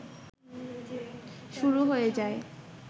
শুরু হয়ে যায়